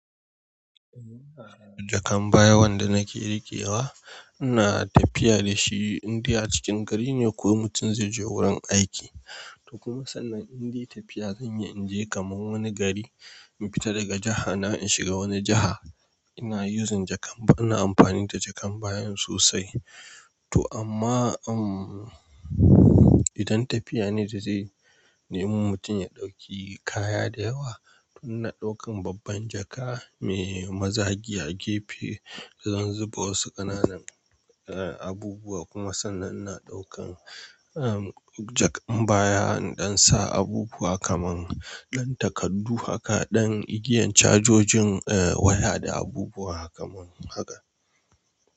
Jakan baya wanda nake rikewa, ina tafiya dashi indai a cikin gari ne ko mutum zai je wurin aiki. To kuma sannan indai tafiya zanyi inje kaman wani gari, in fita daga jiha na in shiga wani jiha, ina yuzin jakan baya, ina amfani da jakan bayan sosai. To amma, umm, idan tafiya ne da zai, nemi mutum ya ɗauki kaya da yawa, to ina ɗaukan babban jaka mai mazagi a gefe, zan zuba wasu ƙananan, eh, abubuwa. Kuma sannan ina ɗaukan, umm, jakan baya in ɗan sa abubuwa kaman ɗan takardu haka, ɗan igiyan cajojin, eh, waya da abubuwa kamar haka.